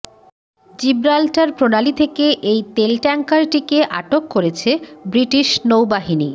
Gibraltar প্রণালী থেকে এই তেল ট্যাংকারটিকে আটক করেছে ব্রিটিশ নৌবাহিনী